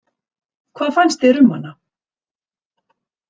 Hvað fannst þér um hana?